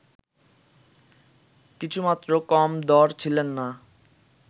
কিছুমাত্র কম দড় ছিলেন না